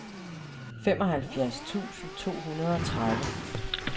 femoghalvfems tusind to hundrede og tredive